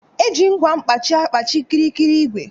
Eji ngwa mkpaji agkpaji kịrịkịrị igwè